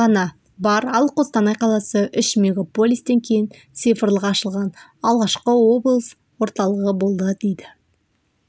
ғана бар ал қостанай қаласы үш мегаполистен кейін цифрлық ашылған алғашқы облыс орталығы болды дейді